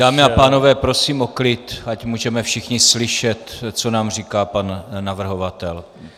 Dámy a pánové, prosím o klid, ať můžeme všichni slyšet, co nám říká pan navrhovatel.